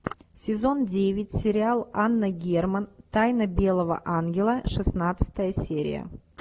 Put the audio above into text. сезон девять сериал анна герман тайна белого ангела шестнадцатая серия